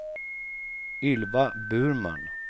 Ylva Burman